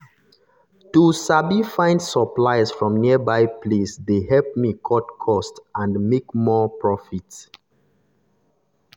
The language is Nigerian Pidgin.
to sabi find supplies from nearby place dey help me cut cost and make more profit.